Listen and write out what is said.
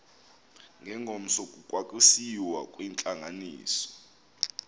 ngengomso kwakusiyiwa kwintlanganiso